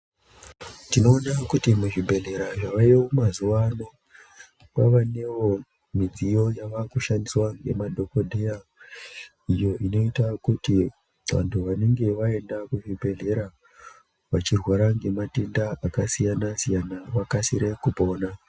Tinoone kuti muzvibhedhlera zvavayo mazuvano kwavanewo midziyo yavakushandiswa nemadhokodheya iyo inoita kuti vantu vanenge vaenda kuzvibhedhlera vachirwara nematenda akasiyana siyana vakasire kupona.